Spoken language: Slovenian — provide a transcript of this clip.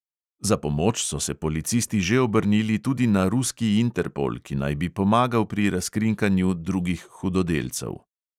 Za pomoč so se policisti že obrnili tudi na ruski interpol, ki naj bi pomagal pri razkrinkanju drugih hudodelcev.